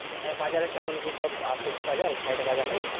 আহ বাজারের কেমন কি সব আছে কি বাজার side এ বাজার নেই?